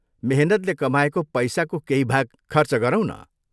मेहनतले कमाएको पैसाको केही भाग खर्च गरौँ न।